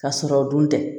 Ka sɔrɔ o dun tɛ